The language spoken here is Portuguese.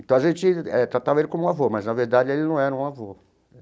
Então a gente eh tratava ele como um avô, mas na verdade ele não era um avô.